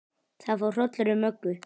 Það fór hrollur um Möggu.